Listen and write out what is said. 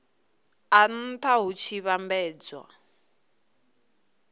a nha hu tshi vhambedzwa